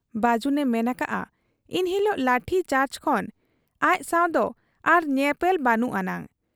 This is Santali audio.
ᱵᱟᱹᱡᱩᱱ ᱮ ᱢᱮᱱ ᱟᱠᱟᱜ ᱟ ᱤᱱ ᱦᱤᱞᱚᱜᱟᱜ ᱞᱟᱴᱷᱤ ᱪᱟᱨᱡᱽ ᱠᱷᱚᱱ ᱟᱡᱥᱟᱶᱫᱚ ᱟᱨ ᱧᱮᱯᱮᱞ ᱵᱟᱹᱱᱩᱜ ᱟᱱᱟᱝ ᱾